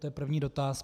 To je první dotaz.